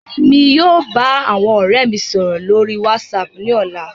Emi yóò ba awọn ọrẹ mi sọrọ lori WhatsApp ni ọla